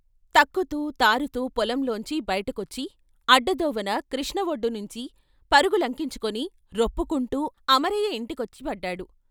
తక్కుతూ తారుతూ పొలంలోంచి బయటకొచ్చి అడ్డదోవన కృష్ణ వొడ్డునుంచి పరుగు లకించుకొని రొప్పుకుంటూ అమరయ్య ఇంటి కొచ్చి పడ్డాడు.